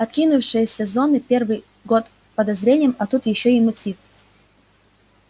откинувшиеся зоны первые под подозрением а тут ещё и мотив